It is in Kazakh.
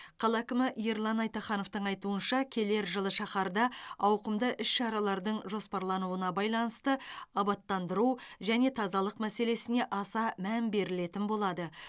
қала әкімі ерлан айтахановтың айтуынша келер жылы шаһарда ауқымды іс шаралардың жоспарлануына байланысты абаттандыру және тазалық мәселесіне аса мән берілетін болады